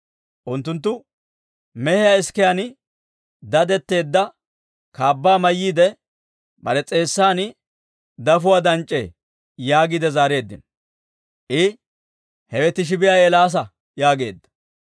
Unttunttu, «Mehiyaa isikiyaan dadetteedda kaabbaa mayyiide, bare s'eessan dafuwaa danc'c'ee» yaagiide zaareeddino. I, «Hewe Tisbbiyaa Eelaasa» yaageedda.